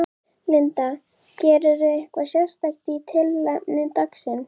Linda: Gerirðu eitthvað sérstakt í tilefni dagsins?